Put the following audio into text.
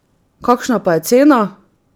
Kakšna pa je cena?